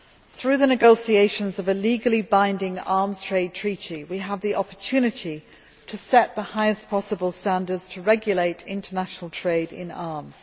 Through the negotiations of a legally binding Arms Trade Treaty we have the opportunity to set the highest possible standards to regulate international trade in arms.